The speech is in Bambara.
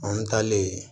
An taalen yen